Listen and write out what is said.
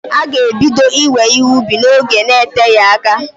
Ha g'ebido iwe ihe ubi n'oge n'eteghi aka.